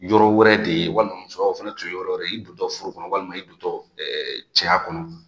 Yɔrɔ wɛrɛ de ye walima musoya fana tun ye yɔrɔ wɛrɛ, i don tɔ furu kɔnɔ walima i don tɔ cɛ kɔnɔ.